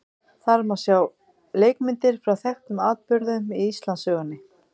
Þar má sjá leikmyndir frá þekktum atburðum í Íslandssögunni.